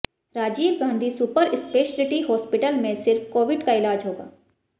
Rajiv Gandhi super speciality hospital में सिर्फ covid का इलाज होगा